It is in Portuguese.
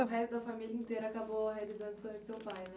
O resto da família inteira acabou realizando o sonho do seu pai?